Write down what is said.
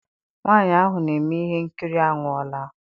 Nwaanyị ahụ na-eme ihe nkiri anwụọla.